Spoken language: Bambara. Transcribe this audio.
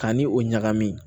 Ka ni o ɲagami